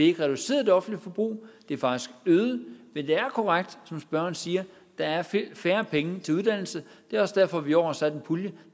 ikke reduceret det offentlige forbrug det er faktisk øget men det er korrekt som spørgeren siger at der er færre penge til uddannelse det er også derfor vi i år har afsat en pulje